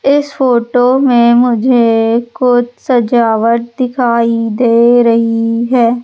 इस फोटो में मुझे कुछ सजावट दिखाई दे रहीं हैं।